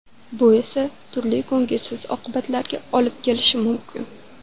Bu esa turli ko‘ngilsiz oqibatlarga olib kelishi mumkin.